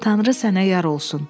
Tanrı sənə yar olsun.